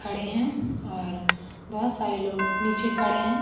खड़े हैं और बहोत सारे लोग नीचे खड़े हैं।